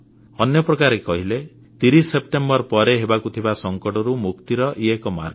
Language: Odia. ଅନ୍ୟ ପ୍ରକାରରେ କହିଲେ 30 ସେପ୍ଟେମ୍ବର ପରେ ହେବାକୁ ଥିବା ସଙ୍କଟରୁ ମୁକ୍ତିର ଇଏ ଏକ ମାର୍ଗ